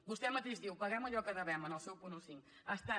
vostè mateix diu paguem allò que devem en el seu punt quinze